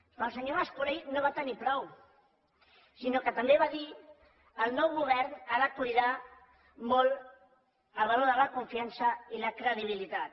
però el senyor mas colell no en va tenir prou sinó que també va dir el nou govern ha de cuidar molt el valor de la confiança i la credibilitat